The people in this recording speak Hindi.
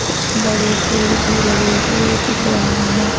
कुछ बड़े पेड़ भी लगे हुए दिख रहे हैं।